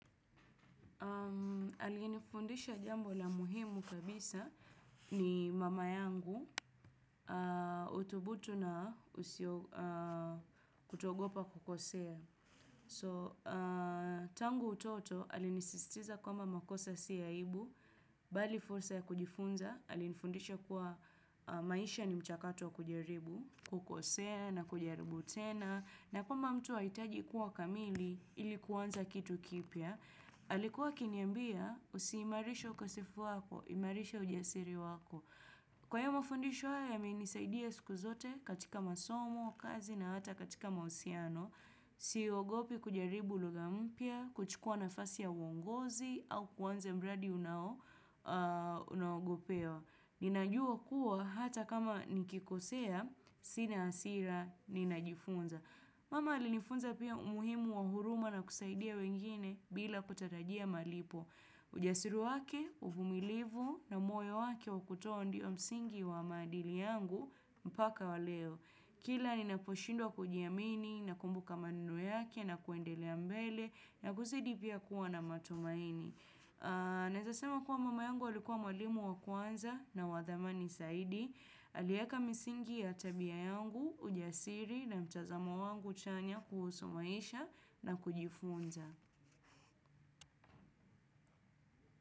Aliyenifundisha jambo la muhimu kabisa ni mama yangu utubutu na kutoogopa kukosea. So tangu utoto ali nisistiza kwamba makosa si aibu, bali fursa ya kujifunza, ali nifundisha kuwa maisha ni mchakato kujaribu, kukosea na kujaribu tena. Na kama mtu haitaji kuwa kamili ilikuwanza kitu kipya. Alikuwa akiniambia usiimarisha ukasifu wako, imarisha ujasiri wako. Kwa hiyo mufundisho haya yamenisaidia siku zote katika masomo, kazi na hata katika mausiano. Siogopi kujaribu lughampia, kuchukua na fasi ya uongozi au kuanza mradi unao ogopewa. Ninajua kuwa hata kama nikikosea, sina hasira, ninajifunza. Mama ali nifunza pia umuhimu wa huruma na kusaidia wengine bila kutatajia malipo. Ujasiri wake, uvumilivu na moyo wake wakutoa ndio msingi wa maadili yangu mpaka wa leo. Kila ni naposhindwa kujiamini na kumbu ka ma neno yake na kuendelea mbele na kuzidi pia kuwa na matumaini. Naezasema kuwa mama yangu alikuwa mwalimu wa kwanza na wadhamani saidi. Alieka misingi ya tabia yangu, ujasiri na mtazamo wangu chanya kuhusu maisha na kujifunza.